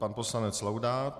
Pan poslanec Laudát.